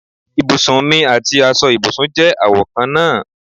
Ibùsùn mì àti aṣọ ibùsùn je àwo kan náà